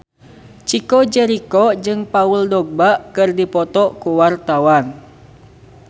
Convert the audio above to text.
Chico Jericho jeung Paul Dogba keur dipoto ku wartawan